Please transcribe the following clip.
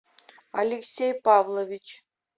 алексей павлович